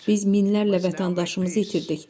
Biz minlərlə vətəndaşımızı itirdik.